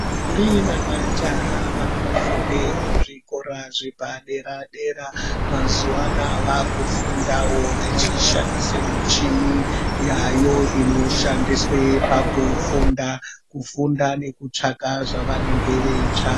Ndombi nemajaha vanofunde kuzvikora zvepadera dera mazuwaanaa vaakufundao vechishandise michini yaayo inoshandiswe pakufunda kufunda nekutsvaka zvavanenge veitsvaka.